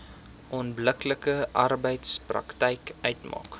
onbillike arbeidspraktyk uitmaak